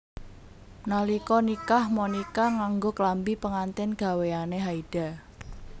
Nalika nikah Monica nganggo klambi pengantin gawéyane Haida